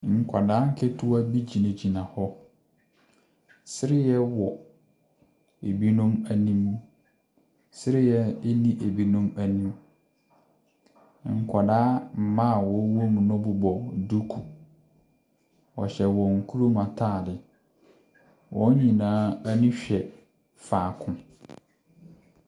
Nkwadaa nketewa bi gyinagyina hɔ. Sereɛ wɔ ebinom anim. Sereɛ nni ebinom anim. Nkwadaa mmaa a wɔwɔ mu no bobɔ duku. Wɔhyɛ wɔn kurom atade. Wɔn nyinaa ani hwɛ faako.